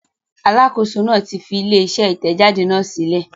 Alákòóso náà fi ilé-iṣẹ́ Ìtẹ̀jáde náà sílẹ̀.